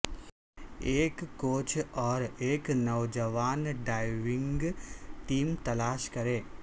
ایک کوچ اور ایک نوجوان ڈائیونگ ٹیم تلاش کریں